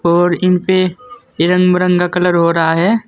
और इनपे ये रंग बिरंगा कलर हो रहा है।